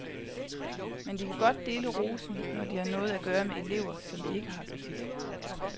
Men de kan godt dele rosen, når de har noget at gøre med elever, som de ikke har så tit.